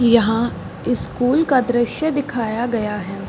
यहाँ स्कूल का दृश्य दिखाया गया है।